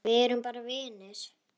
Við erum bara vinir.